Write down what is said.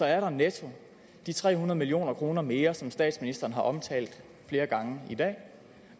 er der netto de tre hundrede million kroner mere som statsministeren har omtalt flere gange i dag